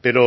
pero